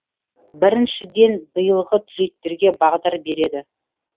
біріншіден биылғы түлектерге бағдар береді